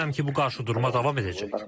Düşünürəm ki, bu qarşıdurma davam edəcək.